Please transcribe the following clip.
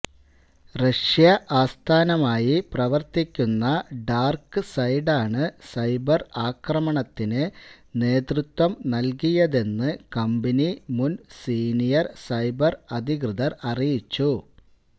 Russia ആസ്ഥാനമായി പ്രവർത്തിക്കുന്ന ഡാർക്ക്സൈഡാണ് സൈബർ ആക്രമണത്തിന് നേതൃത്വം നൽകിയതെന്ന് കമ്പനി മുൻ സീനിയൽ സൈബർ അധികൃതർ അറിയിച്ചു